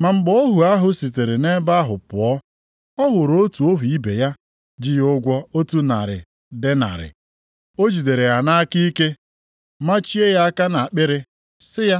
“Ma mgbe ohu ahụ sitere nʼebe ahụ pụọ, ọ hụrụ otu ohu ibe ya ji ya ụgwọ otu narị denarị. + 18:28 Ihe ruru otu puku naịra maọbụ o jiri ihe ntakịrị karịa. O jidere ya nʼaka ike, machie ya aka nʼakpịrị, sị ya,